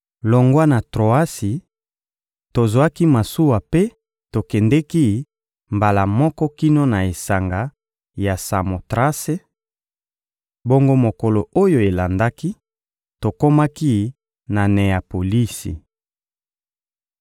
Longwa na Troasi, tozwaki masuwa mpe tokendeki mbala moko kino na esanga ya Samotrase; bongo mokolo oyo elandaki, tokomaki na Neyapolisi.